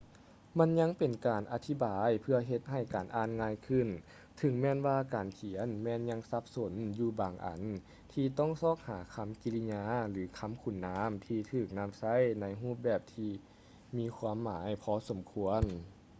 ມັນຍັງເປັນການອະທິບາຍເພື່ອເຮັດໃຫ້ການອ່ານງ່າຍຂຶ້ນເຖິງແມ່ນວ່າການຂຽນແມ່ນຍັງສັບສົນຢູ່ບາງອັນທີ່ຕ້ອງຊອກຫາຄຳກິລິຍາ ຫຼື ຄຳຄຸນນາມທີ່ຖືກນຳໃຊ້ໃນຮູບແບບທີ່ມີຄວາມໝາຍພໍສົມຄວນ